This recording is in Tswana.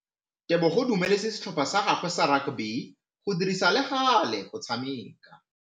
Tebogô o dumeletse setlhopha sa gagwe sa rakabi go dirisa le galê go tshameka.